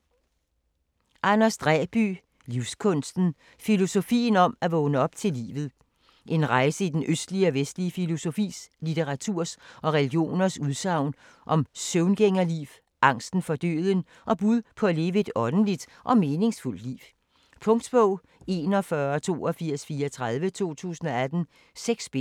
Dræby, Anders: Livskunsten: filosofien om at vågne op til livet En rejse i den østlige og vestlige filosofis, litteraturens og religioners udsagn om søvngængerliv, angsten for døden, og bud på at leve et åndeligt og meningsfuldt liv. Punktbog 418234 2018. 6 bind.